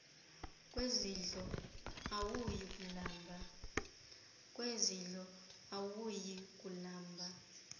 kwezidlo awuyi kulamba